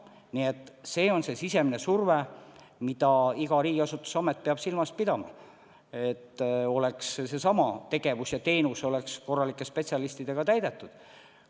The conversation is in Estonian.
Nii et see on see sisemine surve, mida iga riigiasutus, iga amet peab silmas pidama: tegevused ja teenused peavad olema korralike spetsialistidega tagatud.